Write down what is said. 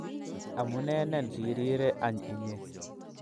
AMUNENEN si rire any inye